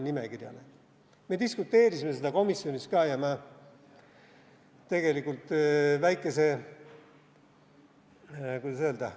Me diskuteerisime seda komisjonis ka ja ma tegelikult väikese – kuidas öelda?